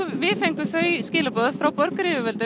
við fengum þau skilaboð frá borginni um